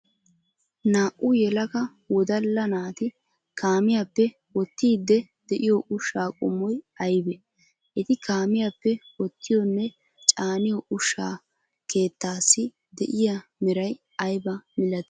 Naa''u yelaga wodalla naati kaamiyaappe wottiide de'iyo ushsha qommoy aybbe? Etti kaamiyaappe wotiyonne caaniyo ushsha keettaasi de'iyaa meray aybba milatti?